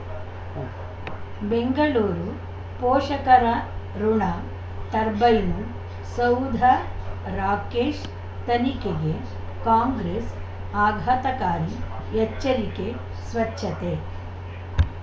ಉಂ ಬೆಂಗಳೂರು ಪೋಷಕರಋಣ ಟರ್ಬೈನು ಸೌಧ ರಾಕೇಶ್ ತನಿಖೆಗೆ ಕಾಂಗ್ರೆಸ್ ಆಘಾತಕಾರಿ ಎಚ್ಚರಿಕೆ ಸ್ವಚ್ಛತೆ